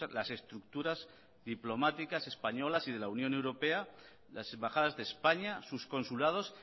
las estructuras diplomáticas españolas y de la unión europea las embajadas de españa sus consulados